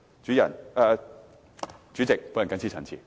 代理主席，我謹此陳辭。